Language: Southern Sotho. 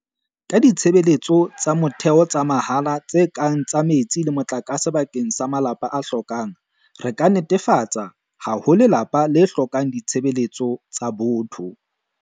Ka ditshebeletso tsa motheo tsa mahala tse kang ka metsi le motlakase bakeng sa malapa a hlokang, re ka netefatsa ha ho lelapa le hlokang ditshebeletso tsa motho.